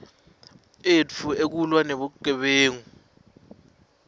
etfu ekulwa nebugebengu